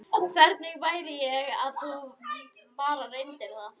Hvernig væri að þú bara reyndir það?